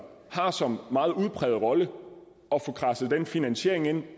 har som meget udpræget rolle at få kradset den finansiering ind